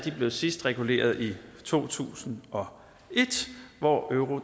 blev sidst reguleret i to tusind og et hvor euro